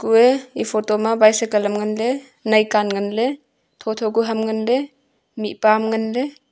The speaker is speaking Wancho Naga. kue e photo ma bicycle ham nganley naicand nganley thotho ku ham nganley mihpa ham nganley.